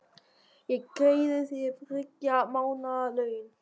Ég greiði þér þriggja mánaða laun.